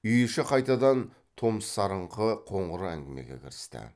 үй іші қайтадан томсарыңқы қоңыр әңгімеге кірісті